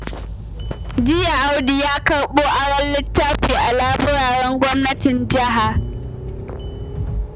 Jiya Audu ya karɓo aron littafi a laburaren gwamnatin jiha